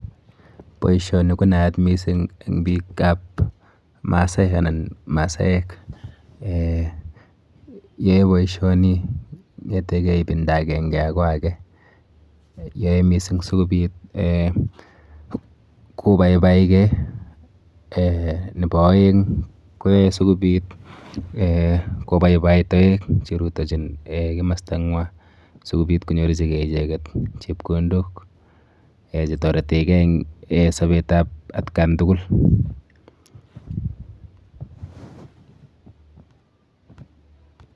Boisioni konaat missing en biikab masaek anan masaek eeh yoe boisioni kong'etege ibinda akenge akoi ake, yoe missing sikobit kobaibaike eeh nepo aeng koyoe sikobit kobaibai toek cherutochin komastanywan sikobit konyorchike icheket chepkondok chetoretekee en sobetab atkan tugul.